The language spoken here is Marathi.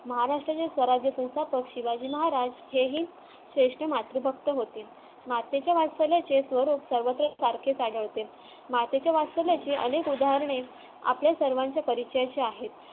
महाराष्ट्राचे स्वराज्य संस्थापक शिवाजी महाराज हेही ज्येष्ठ मातृभक्त होते मातेच्या वास्तव्याचे स्वरूप सर्वश्रेष्ठ सारखेच आढळते मातेच्या वास्तव्याचे अनेक उदाहरणे आपल्या सर्वांच्या परिचयाचे आहेत